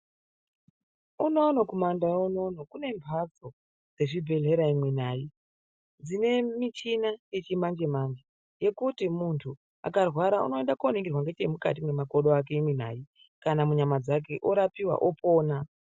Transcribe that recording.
Unono kumandau unono kune mhatso dzezvibhelera imwi nayi!, dzine michini yechimanjemanje yekuti munhu akarwara unoenda koningira ngechemukati mwemakodo ake imwi nai!, kana munyama dzake orapiwa opona.